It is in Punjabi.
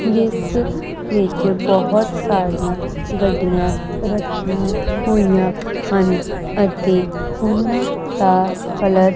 ਜਿਸ ਵਿੱਚ ਬਹੁਤ ਸਾਰੀਆਂ ਗੱਡੀਆਂ ਰੱਖੀਆਂ ਹੋਈਆਂ ਹਨ ਅਤੇ ਉਹਨਾਂ ਦਾ ਕਲਰ --